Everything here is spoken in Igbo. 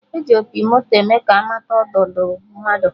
E ji opi moto eme ka amata nnọdụ mmadụ